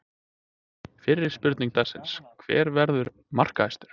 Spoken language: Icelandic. Fyrri spurning dagsins: Hver verður markahæstur?